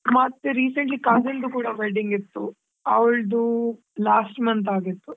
ಮತ್ತೆ recently cousin ದು ಕೂಡ wedding ಇತ್ತು ಅವ್ಳಿದ್ last month ಆಗಿತ್ತು.